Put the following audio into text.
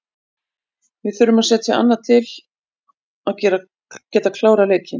Við þurfum að setja annað til að geta klárað leikinn.